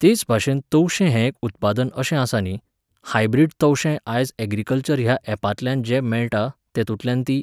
तेच भाशेन तवशें हें एक उत्पादन अशें आसा न्ही, हायब्रिड तवशें आज ऍग्रिकल्चर ह्या ऍपांतल्यान जें मेळटा, तेतूंतल्यान तीं